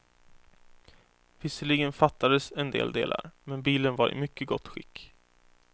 Visserligen fattades en del delar, men bilen var i mycket gott skick.